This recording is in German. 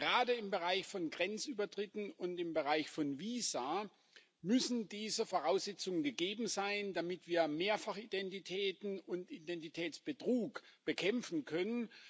Gerade im Bereich von Grenzübertritten und im Bereich von Visa müssen diese Voraussetzungen gegeben sein, damit wir Mehrfachidentitäten und Identitätsbetrug bekämpfen können.